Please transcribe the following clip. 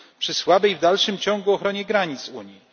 Przy słabej w dalszym ciągu ochronie granic Unii.